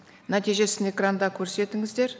нәтижесін экранда көрсетіңіздер